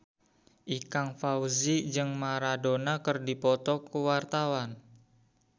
Ikang Fawzi jeung Maradona keur dipoto ku wartawan